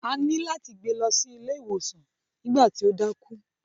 A ní láti gbe lọ sí ilé iwosan nígbà tí ó dákú.